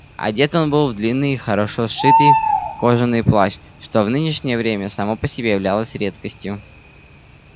одет он был в длинный и хорошо сшитый кожаный плащ что в нынешнее время само по себе являлось редкостью